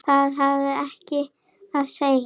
Það hafði ekkert að segja.